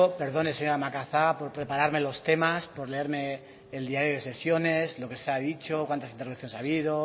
perdone señora macazaga por prepararme los temas por leerme el diario de sesiones lo que se ha dicho cuántas intervenciones ha habido